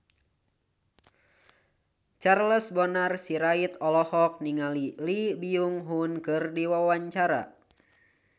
Charles Bonar Sirait olohok ningali Lee Byung Hun keur diwawancara